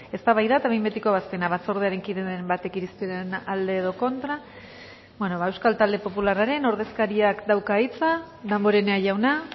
eztabaida eta behin betiko ebazpena batzordearen kideren batek irizpenaren alde edo kontra ba euskal talde popularraren ordezkariak dauka hitza damborenea jauna